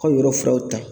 K'aw ye yɔrɔ filaw ta